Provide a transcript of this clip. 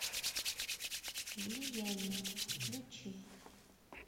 влияние включи